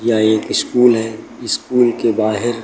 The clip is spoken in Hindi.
यह एक स्कूल है। स्कूल के बाहेर --